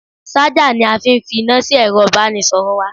Ṣájà ni a fi fi iná sí ẹ̀ro ìbánisọ̀rọ̀ wa.